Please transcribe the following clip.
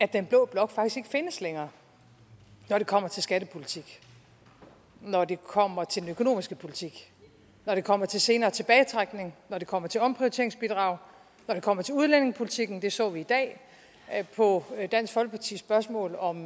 den blå blok faktisk ikke findes længere når det kommer til skattepolitik når det kommer til den økonomiske politik når det kommer til senere tilbagetrækning når det kommer til omprioriteringsbidraget når det kommer til udlændingepolitikken det så vi i dag på dansk folkepartis spørgsmål om